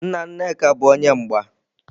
Nna Nneka bu onye mgba.